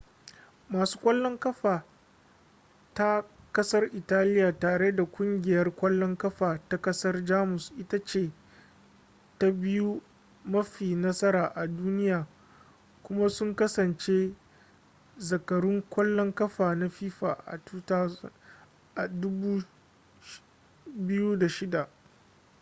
masu kwallon ƙafa ta ƙasar italiya tare da ƙungiyar ƙwallon ƙafa ta ƙasar jamus ita ce ta biyu mafi nasara a duniya kuma sun kasance zakarun ƙwallon ƙafa na fifa a 2006